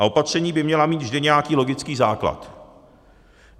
A opatření by měla mít vždy nějaký logický základ.